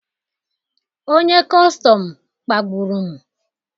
Onye kọstọm kpagburu m